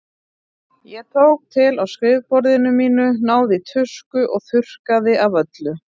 Ég tók til á skrifborðinu mínu, náði í tusku og þurrkaði af öllu.